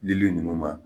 Lili ninnu ma